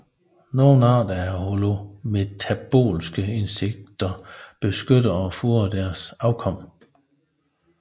Nogle arter af holometabolske insekter beskytter og fodrer deres afkom